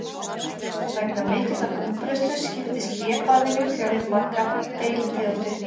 Vegna mikillar útbreiðslu skiptist hlébarðinn í fjölmargar deilitegundir.